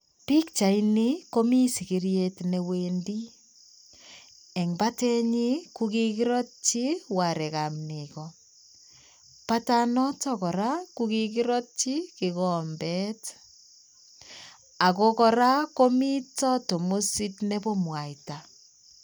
Pikchaitni komii sigiryet newendi. Eng batennyi kokikiratchi warekab Nego. Batanoto kora ko kikiratchi kikombet. Ako kora komitoo tamusit nebo mwaita